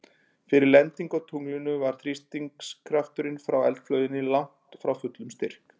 Fyrir lendingu á tunglinu var þrýstikrafturinn frá eldflauginni langt frá fullum styrk.